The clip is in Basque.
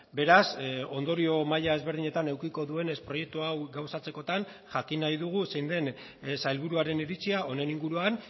beraz ondorio maila ezberdinetan edukiko duenez proiektu hau gauzatzekotan jakin nahi dugu zein den sailburuaren iritzia honen inguruan